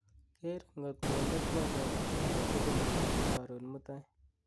keer ng'ot konde twolyot agrtugul nebo korun mutai